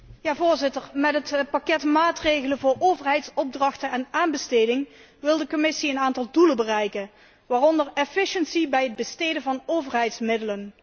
Voorzitter, met het pakket maatregelen voor overheidsopdrachten en aanbestedingen wil de Commissie een aantal doelen bereiken waaronder bij het besteden van overheidsmiddelen.